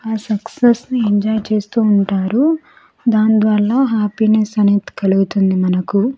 ఆ సక్సెస్ ని ఎంజాయ్ చేస్తూ ఉంటారు దాని ద్వారా హ్యాపీనెస్ అనేది కలుగుతుంది మనకు.